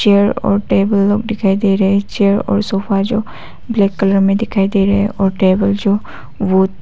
chair और table लोग दिखाई दे रहे है चेयर और सोफा जो ब्लैक कलर में दिखाई दे रहे हैं और टेबल जो वो--